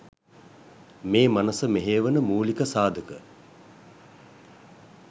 මේ මනස මෙහෙයවන මූලික සාධක.